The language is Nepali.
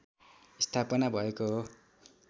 स्थापना भएको हो